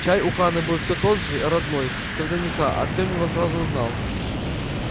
чай у хана был все тот же родной с вднх артем его сразу узнал